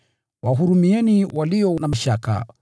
Wahurumieni walio na mashaka;